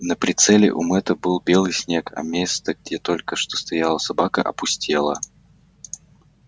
на прицеле у мэтта был белый снег а место где только что стояла собака опустело